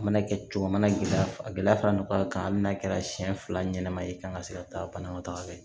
A mana kɛ cogo a mana gɛlɛya a gɛlɛya fara ɲɔgɔn kan amina kɛra siɲɛ fila ɲɛnɛma ye kan ka se ka taa banakɔtaga fɛ